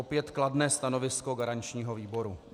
Opět kladné stanovisko garančního výboru.